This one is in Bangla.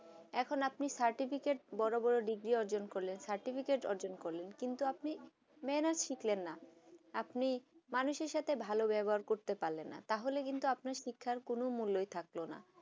এখন আপনি certificate বড়ো বড়ো ডিগ্রি অর্জন করলেন certificate অর্জন করলেন কিন্তু আপনি মেহনত শিক্ষ লেন না আপনি মানুষেই সাথে ভালো ব্যবহার করতে পারলেন না তাহলে কিন্তু আপনার শিক্ষায় কোনো মূল থাকবে না